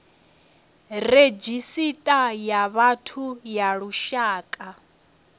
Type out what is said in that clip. redzhisita ya vhathu ya lushaka